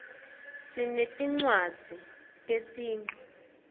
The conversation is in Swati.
sinetinwadzz tesinqi